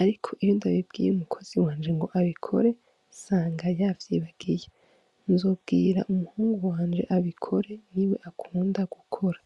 ariko iyo ndabibwiye umukozi ngo abikore nsanga yavyibagiye. Nzobwira umuhungu wanje abikore niwe akunda gukora.